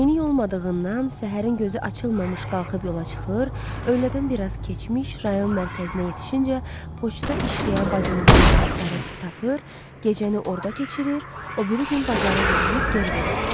Minik olmadığından səhərin gözü açılmamış qalxıb yola çıxır, öylədən biraz keçmiş rayon mərkəzinə yetişincə poçtda işləyən bacılığını axtarıb tapır, gecəni orda keçirir, o biri gün bazarlıq eləyib geri dönürdü.